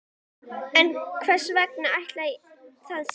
En hvers vegna ætli það sé?